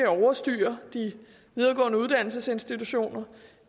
overstyre de videregående uddannelsesinstitutioner